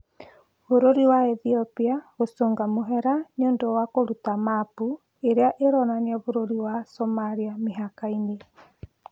Bũrũri wa Ethiopia gũcũnga mũhera nĩũndũ wa kũruta mapu ĩrĩa ĩronania bũrũri wa Somalia mĩhaka-inĩ